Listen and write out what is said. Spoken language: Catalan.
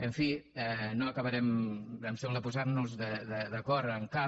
en fi no acabarem em sembla posant nos d’acord en cap